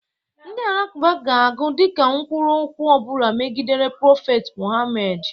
Ndị alakụba ga-agụ dịka nkwulu okwu ọbụla megidere prophet Mohamed.